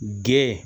Gɛn